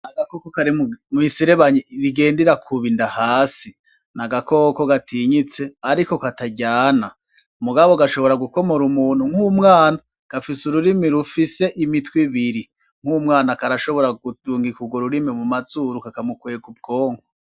Ni agakoko kari mu miserebanyi igenda irakuba inda hasi. Ni agakoko gatinyitse ariko kataryana, ariko gashobora gukomora umuntu nk'umwana. Gafise ururimi rufise imitwe ibiri, nk'umwana karashobora kurungika urwo rurimi mu mazuru, kakamukwega ubwonko.